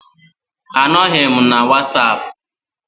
Anọghị m na wasapụ